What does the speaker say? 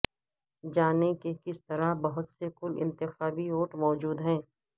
جانیں کہ کس طرح بہت سے کل انتخابی ووٹ موجود ہیں